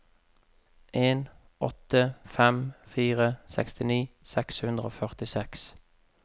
en åtte fem fire sekstini seks hundre og førtiseks